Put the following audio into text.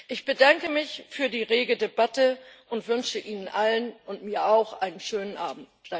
Ich bedanke mich für die rege Debatte und wünsche Ihnen allen und mir auch einen schönen Abend.